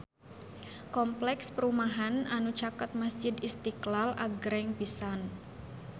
Kompleks perumahan anu caket Masjid Istiqlal agreng pisan